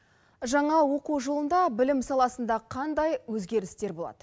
жаңа оқу жылында білім саласында қандай өзгерістер болады